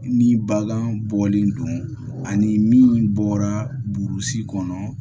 Ni bagan bɔlen don ani min bɔra burusi kɔnɔ